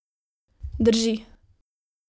Drži.